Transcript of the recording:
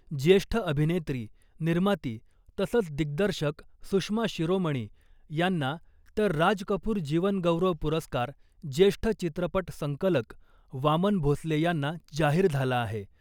ज्येष्ठ अभिनेत्री , निर्माती तसंच दिग्दर्शक सुषमा शिरोमणी यांना, तर राज कपूर जीवनगौरव पुरस्कार ज्येष्ठ चित्रपट संकलक वामन भोसले यांना जाहीर झाला आहे .